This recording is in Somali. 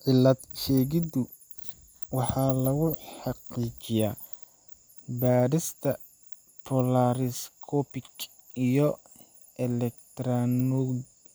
Cilad-sheegiddu waxa lagu xaqiijiyaa baadhista polaariscopic iyo